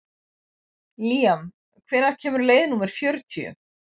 Líam, hvenær kemur leið númer fjörutíu?